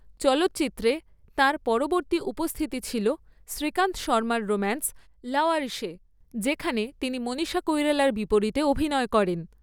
চলচ্চিত্রে তাঁর পরবর্তী উপস্থিতি ছিল শ্রীকান্ত শর্মার রোম্যান্স 'লাওয়ারিসে', যেখানে তিনি মনীষা কৈরালার বিপরীতে অভিনয় করেন।